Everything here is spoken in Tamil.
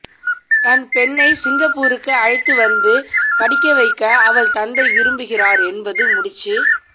தன் பெண்ணை சிங்கப்பூருக்கு அழைத்துவந்து படிக்கவைக்க அவள் தந்தை விரும்புகிறார் என்பது முடிச்சு